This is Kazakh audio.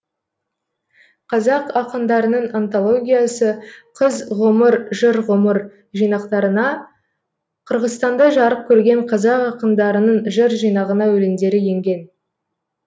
қазақ ақындарының антологиясы қыз ғұмыр жыр ғұмыр жинақтарына қырғызстанда жарық көрген қазақ ақындарының жыр жинағына өлеңдері енген